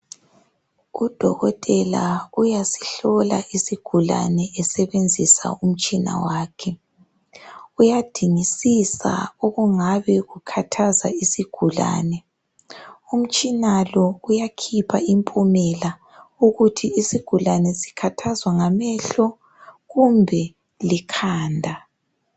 uDokotela uyasihlola isigulane esebenzisa umtshina wakhe. uyadingisisa okungabe kukhathaza isigulane. Uyakhipha impumela ukuthi isigulane sikhathazwa ngamehlo kumbe likhanda